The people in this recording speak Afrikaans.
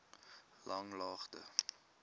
langlaagte